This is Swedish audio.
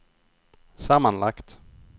sammanlagt